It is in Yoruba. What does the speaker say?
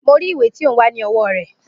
Mo rí ìwé tí ó ń wá ní owó rè